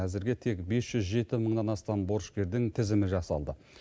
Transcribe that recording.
әзірге тек бес жүз жеті мыңнан астам борышкердің тізімі жасалды